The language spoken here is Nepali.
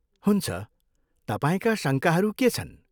हुन्छ, तपाईँका शङ्काहरू के छन्?